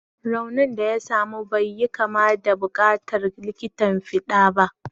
Raunin da ya samu bai yi kama da buƙatar likitan fiɗa ba.